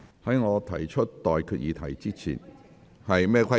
在我提出待決議題之前......